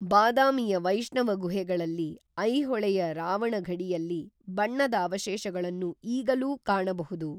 ಬಾದಾಮಿಯ ವೈಷ್ಣವ ಗುಹೆಗಳಲ್ಲಿ, ಐಹೊಳೆಯ ರಾವಣಫಡಿಯಲ್ಲಿ ಬಣ್ಣದ ಅವಶೇಷಗಳನ್ನು ಈಗಲೂ ಕಾಣಬಹುದು.